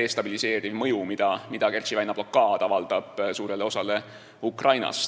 destabiliseeriv mõju, mida Kertši väina blokaad avaldab suurele osale Ukrainast.